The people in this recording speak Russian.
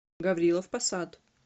гаврилов посад